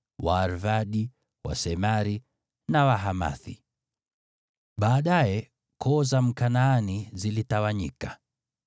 Waarvadi, Wasemari na Wahamathi. Baadaye koo za Wakanaani zilitawanyika,